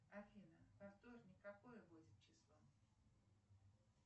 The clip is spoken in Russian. афина во вторник какое будет число